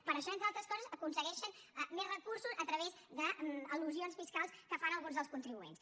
per això entre altres coses aconsegueixen més recursos a través d’elusions fiscals que fan alguns dels contribuents